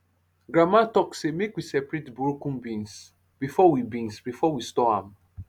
grandma talk say make we separate broken beans before we beans before we store am